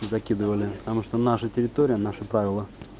закидывали потому что наша территория наши правила